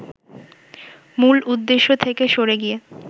মূল উদ্দেশ্য থেকে সরে গিয়ে